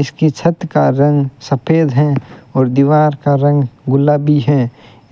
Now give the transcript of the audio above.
इसकी छत का रंग सफेद है और दीवार का रंग गुलाबी है